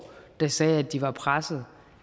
der sagde at de var pressede